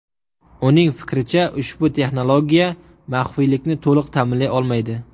Uning fikricha, ushbu texnologiya maxfiylikni to‘liq ta’minlay olmaydi.